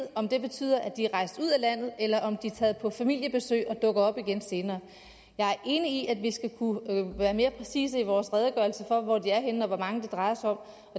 om det betyder at de er rejst ud af landet eller om de er taget på familiebesøg og dukker op igen senere jeg er enig i at vi skal kunne være mere præcise i vores redegørelse for hvor de er henne og hvor mange det drejer sig om